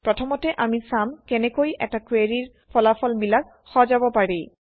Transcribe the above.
প্ৰথমতে আমি চাম কেনেকৈ এটা কুৱেৰিৰ ফলাফলবিলাক সজাব পাৰি